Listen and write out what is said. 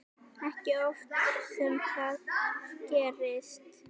Ekki oft sem það gerist.